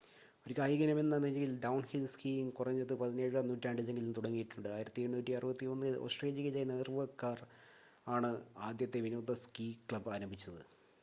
ഒരു കായിക ഇനമെന്ന നിലയിൽ ഡൗൺഹിൽ സ്കീയിങ് കുറഞ്ഞത് പതിനേഴാം നൂറ്റാണ്ടിലെങ്കിലും തുടങ്ങിയിട്ടുണ്ട് 1861-ൽ ഓസ്‌ട്രേലിയയിൽ നോർവേക്കാർ ആണ് ആദ്യത്തെ വിനോദ സ്‌കീ ക്ലബ് ആരംഭിച്ചത്